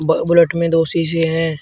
ब बुलेट में दो शीशे हैं।